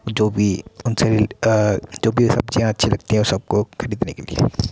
जो भी अ जो भी सब्जियां अच्छी लगती हैं उन सब को खरीदने के लिए --